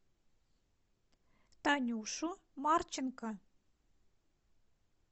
танюшу марченко